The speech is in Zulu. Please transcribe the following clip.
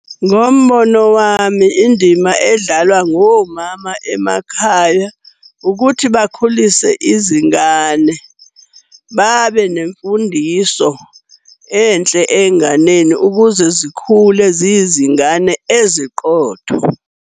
Ngombono wami, indima edlalwa ngomama emakhaya ukuthi bakhulise izingane, babe nemfundiso enhle ey'nganeni ukuze zikhule ziyizingane eziqotho.